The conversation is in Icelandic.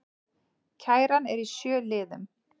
Kæran er í sjö liðum